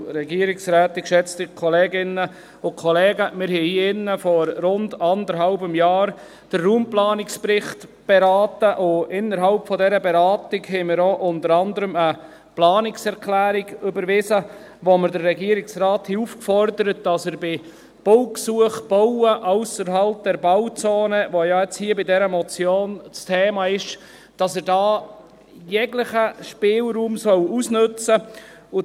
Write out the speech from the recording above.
Wir haben hier vor rund eineinhalb Jahren den Raumplanungsbericht beraten, und innerhalb dieser Beratung haben wir unter anderem auch eine Planungserklärung überwiesen, mit der wir den Regierungsrat aufgefordert haben, dass er bei Baugesuchen beim Bauen ausserhalb der Bauzone – das ja jetzt hier bei dieser Motion das Thema ist – jeglichen Spielraum ausnützen soll.